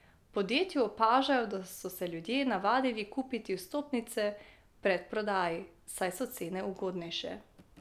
V podjetju opažajo, da so se ljudje navadili kupiti vstopnice v predprodaji, saj so cene ugodnejše.